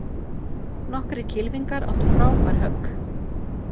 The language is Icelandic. Nokkrir kylfingar áttu frábær högg